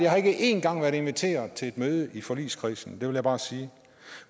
har ikke en gang været inviteret til møde i forligskredsen det vil jeg bare sige